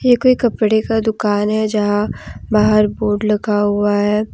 ये कोई कपड़े का दुकान है जहां बाहर बोर्ड लगा हुआ है।